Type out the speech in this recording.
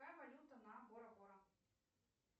какая валюта на бора бора